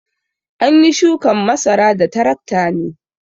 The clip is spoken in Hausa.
An yi shukan masara da tarakta ne.